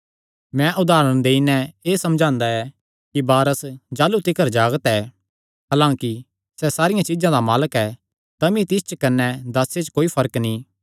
मैं उदारण देई नैं एह़ समझांदा ऐ कि वारस जाह़लू तिकर जागत ऐ हलांकि सैह़ सारियां चीज्जां दा मालक ऐ तमी तिस च कने दासे च कोई फर्क नीं